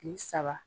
Kile saba